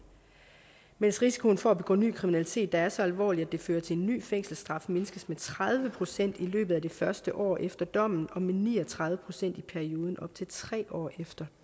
mens risikoen for at begå ny kriminalitet der er så alvorlig at det fører til en ny fængselsstraf mindskes med tredive procent i løbet af det første år efter dommen og med ni og tredive procent i perioden op til tre år efter